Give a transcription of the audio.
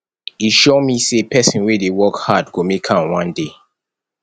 e sure me sey pesin wey dey work hard go make am one day